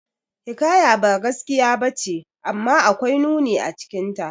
Hikaya ba gaskiya bace, amma akwai nuni acikinta.